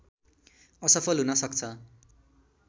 असफल हुन सक्छ